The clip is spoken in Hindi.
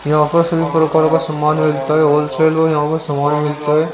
यहां पर सभी प्रकार का समना मिलता है होल सेल मे यहां पे समान मिलता है।